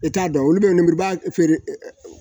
E t'a dɔn olu bɛ lenburuba feere